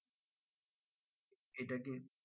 সেটা কি